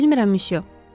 Bilmirəm, myusyo.